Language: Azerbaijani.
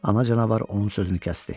Ana canavar onun sözünü kəsdi.